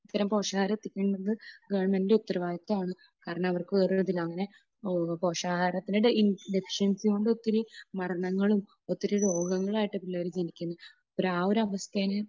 ഇത്തരം പോഷകാഹാരം ഒകെ കിട്ടുന്നത് ഗവണ്മെന്റിന്റെ ഉത്തരവാദിത്വമാണ്. കാരണം അവർക്ക് വേറെ ഒരു ഇതിൽ, അങ്ങനെ പോഷകാഹാരത്തിന്റെ ഡെഫിഷ്യന്സികൊണ്ട് ഒത്തിരി മരണങ്ങളും ഒത്തിരി രോഗങ്ങളായിട്ട് പിള്ളേർ ജനിക്കുന്നു. അപ്പോൾ ആ ഒരു അവസ്ഥേനെ